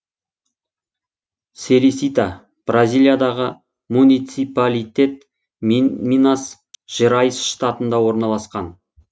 серисита бразилиядағы муниципалитет минас жерайс штатында орналасқан